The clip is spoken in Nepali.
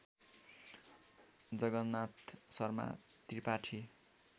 जगन्नाथ शर्मा त्रिपाठी